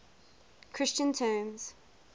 christian terms